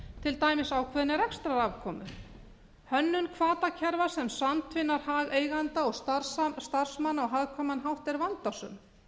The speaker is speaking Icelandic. til dæmis ákveðinni rekstrarafkomu hönnun hvatakerfa sem samtvinna hag eigenda og starfsmanna á hagkvæman átt er vandasöm